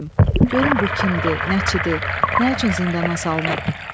Görüm bu kimdir, nəçidir, nə üçün zindana salınıb?